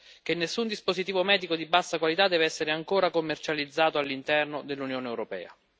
che nessun dispositivo medico di bassa qualità deve essere ancora commercializzato all'interno dell'Unione europea.